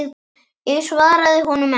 Ég svaraði honum ekki.